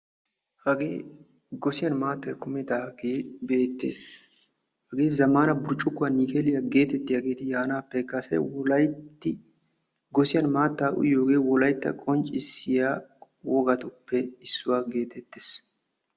Hagee gossiyaan maattay kumidagee beettees. hagee zammaana burccukuwaa nikeliyaa getettiyaageti yaanappe kase gosiyaan maattaa uyiyoogee wolaytta qonccisiyaa wogatuppe issuwaa getettees.